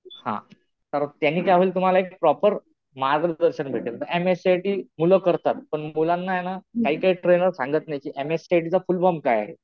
हा. तर त्याने काय होईल तुम्हाला एक प्रॉपर मार्गदर्शन भेटेल. M S C I T मुलं करतात. पण मुलांना ना काही काही ट्रेनर सांगत नाही कि M S C I T चा फुल फॉर्म काय आहे.